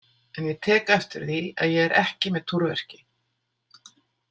En ég tek eftir því að ég er ekki með túrverki.